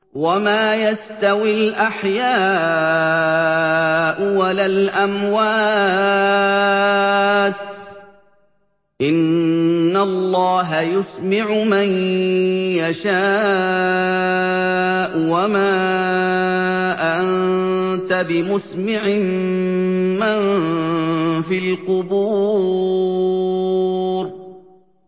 وَمَا يَسْتَوِي الْأَحْيَاءُ وَلَا الْأَمْوَاتُ ۚ إِنَّ اللَّهَ يُسْمِعُ مَن يَشَاءُ ۖ وَمَا أَنتَ بِمُسْمِعٍ مَّن فِي الْقُبُورِ